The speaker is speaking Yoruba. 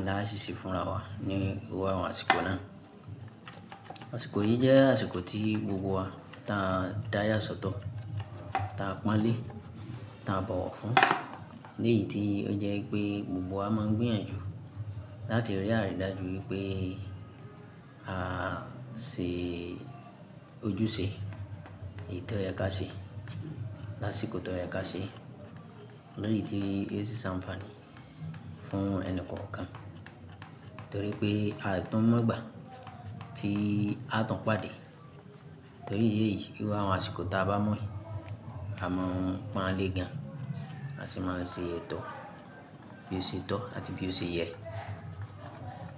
ńlá ṣiṣẹ́ fúnra wa ní gbogbo àwọn àsìkò náà. Àsìkò yìí jẹ́ àsìkò tí gbogbo wa tá a dáya sọ́tọ̀, tá a pọ́n lé, tá a bọ̀wọ̀ fún, léyì tí ó jẹ́ pé gbogbo wa máa ń gbìyànjú láti rí àrídájú wípé à se ojúṣe èyí tó yẹ ká ṣe lásìkò tó yẹ ká ṣe. Léyì tí yóò ṣiṣẹ́ àǹfààní fún ẹni kọ̀ọ̀kan. Nítorí pé àìtọ́ mọ́gbà tí a tun pàdé. Nítorí ìdi èyìí gbogbo àwọn àsìkò tá a bá mọ́ yìí, a máa ń pọ́n lé gan, a sì máa ń ṣe ètò bí ó ṣe tọ́ àti bí ó ṣe yẹ.